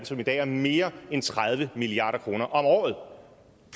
som i dag er mere end tredive milliard kroner om året